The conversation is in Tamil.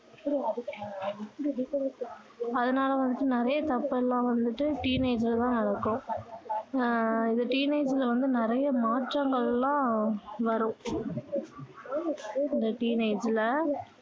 அதனால வந்துட்டு நிறைய தப்பு எல்லாம் வந்துட்டு teenage ல தான் நடக்கும் அஹ் இது teenage ல வந்து நிறைய மாற்றங்கள்லாம் வரும் இந்த teenage ல